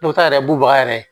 Ne bɛ taa yɛrɛ bubaga yɛrɛ